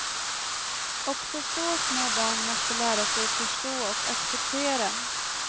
Också så små barn måste lära sig förstå och acceptera.